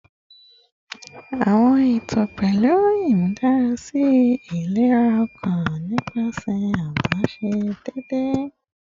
Awọn eto pẹlu imudarasi ilera ọkan nipasẹ adaṣe deede